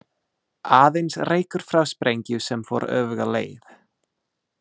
Aðeins reykur frá sprengju sem fór öfuga leið.